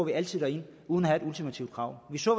vi altid derind uden at have et ultimativt krav vi så